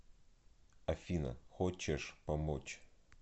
афина хочешь помочь